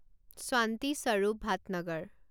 শান্তি স্বৰূপ ভাটনগৰ